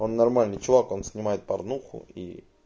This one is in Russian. он нормальный чувак он снимает парнуху и